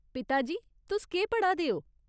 पिता जी, तुस केह् पढ़ा दे ओ ?